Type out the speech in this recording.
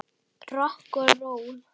Rokk og ról.